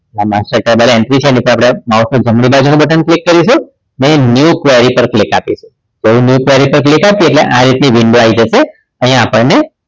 આ master table entry છે એટલે આપણે માઉસનું જમણી બાજુનું button click કરીશું અને new query પર ક્લિક આપીશું જેવું પર ક્લિક આપીએ એટલે આ રીતની window આવી જશે અહીંયા આપણને